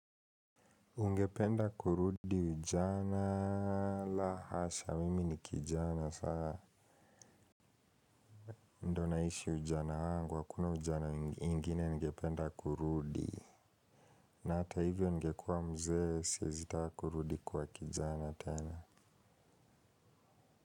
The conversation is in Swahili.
Ungependa kurudi ujana la hasha mimi ni kijana sana muda naishi ujana angu, hakuna ujana ingine ningependa kurudi na hata hivyo ningekua mzee, siwezi kaa kurudi kuwa kijana tena.